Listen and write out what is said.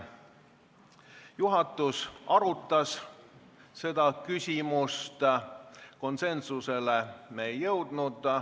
Juhatus arutas seda küsimust, konsensusele me ei jõudnud.